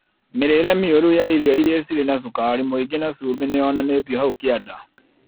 Mĩrĩĩre mĩũru ya irio iria cirĩ na cukari mũingĩ na cumbĩ nĩyonanĩtio hau kĩanda